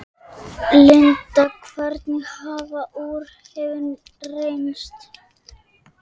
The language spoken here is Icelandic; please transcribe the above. Klukkan er bara eitt, sagði